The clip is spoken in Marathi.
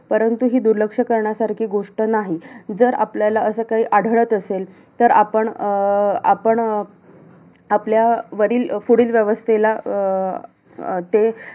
त्यांची इच्छा तर नक्कीच आ त्यावेळी अ आग्राहून सुटका केली त्यावेळी आपण जेवढे गेलेलो म्हणजे शिवाजी महाराजांनी जेवढे मावळे नेलेले त्याच्यापैकी तिकडे कोणच नाही राहिले एकदम शेवटच्या श्वासापर्यंत जे कोण आहे अ तिकडे ज्यांना